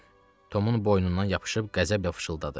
Tomun boynundan yapışıb qəzəblə pıçıldadı.